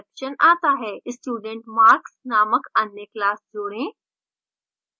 studentmarks named अन्य class जोड़ें